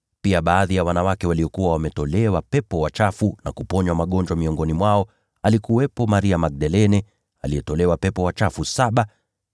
pia baadhi ya wanawake waliokuwa wametolewa pepo wachafu na kuponywa magonjwa. Miongoni mwao alikuwepo Maria Magdalene, aliyetolewa pepo wachafu saba;